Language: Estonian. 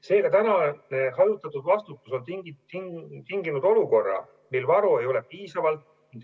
Seega, praegune hajutatud vastutus on tinginud olukorra, kus varu ei ole piisavalt.